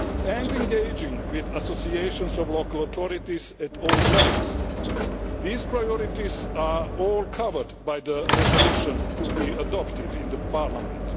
and engaging with associations of local authorities at all levels. These priorities are all covered by the resolution to be adopted in Parliament.